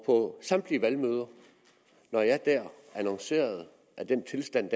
på samtlige valgmøder annoncerede at i den tilstand